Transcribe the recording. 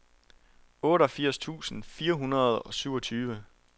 otteogfirs tusind fire hundrede og syvogtyve